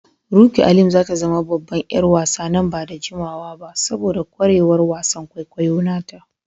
Rukky Alim za ta zama babban ƴar wasa nan ba da jimawa ba saboda kwarewar wasan kwaikwayo nata.